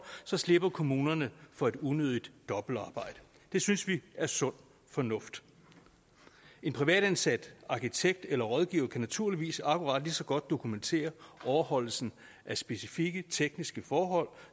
slipper kommunerne for unødigt dobbeltarbejde det synes vi er sund fornuft en privatansat arkitekt eller rådgiver kan naturligvis akkurat lige så godt dokumentere overholdelsen af specifikke tekniske forhold